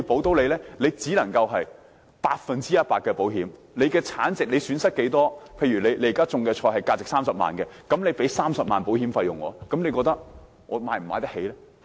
只能要業者承擔百分百的風險，產值多少、損失多少，例如所種的菜價值30萬元，便要支付30萬元保險費，你認為農民負擔得起嗎？